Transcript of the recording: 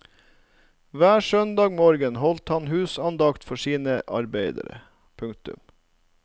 Hver søndag morgen holdt han husandakt for sine arbeidere. punktum